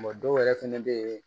dɔw yɛrɛ fɛnɛ bɛ yen